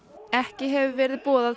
ekki hefur verið boðað